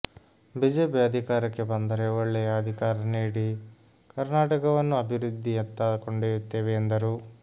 BJP ಅಧಿಕಾರಕ್ಕೆ ಬಂದರೆ ಒಳ್ಳೆಯ ಅಧಿಕಾರ ನೀಡಿ ಕರ್ನಾಟಕ ವನ್ನು ಅಭಿವೃದ್ಧಿ ಯತ್ತ ಕೊಂಡೊಯುತ್ತೆವೆ ಎಂದರು